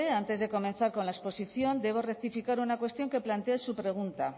antes de comenzar con la exposición debo rectificar una cuestión que plantea en su pregunta